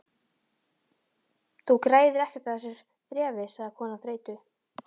Þú græðir ekkert á þessu þrefi sagði konan þreytu